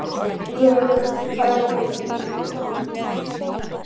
Vök, hvað er opið lengi á sunnudaginn?